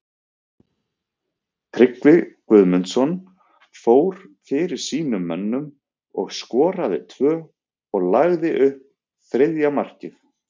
Tryggvi Guðmundsson fór fyrir sínum mönnum og skoraði tvö og lagði upp þriðja markið.